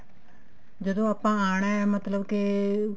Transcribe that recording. ਜਦੋਂ ਆਪਾਂ ਆਉਣਾ ਮਤਲਬ ਕੇ